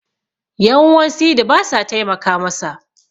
yan'uwan sidi ba sa taimaka masa